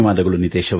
ಧನ್ಯವಾದಗಳು